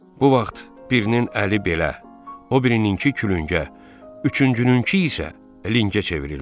Bu vaxt birinin əli belə, o birininkı külüngə, üçüncününkü isə lingə çevrildi.